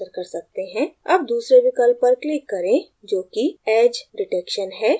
अब दूसरे विकल्प पर click करें जोकि edge detection है